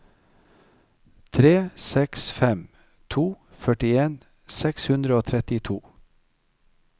tre seks fem to førtien seks hundre og trettito